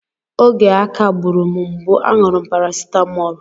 Oge aká gburu m mgbu, a ṅụrụ m parasitamọl.